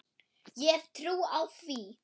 Ég hef trú á því.